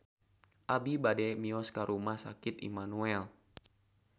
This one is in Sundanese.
Abi bade mios ka Rumah Sakit Immanuel